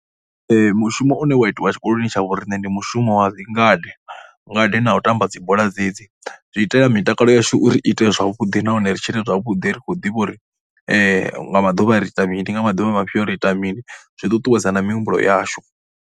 Mushumo une wa itiwa tshikoloni tsha vho riṋe ndi mushumo wa ngade, ngade na u tamba dzi bola dzedzi. Zwi itela mitakalo yashu uri ite zwavhuḓi nahone ri tshine zwavhuḓi ri khou ḓivha uri nga maḓuvha ri ita mini, nga maḓuvha mafhio ri ita mini. Zwi ṱuṱuwedza na mihumbulo yashu.